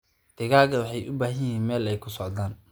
Digaagga waxay u baahan yihiin meel ay ku socdaan.